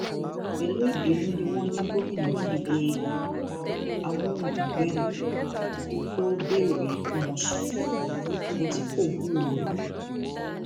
pẹlú ìbínú ni wọn ní gomina fi he ẹrọ amóhundùngbẹmù tó béèrè kọmọnsàn hùn ṣùgbọn tí kò gbúròó rẹ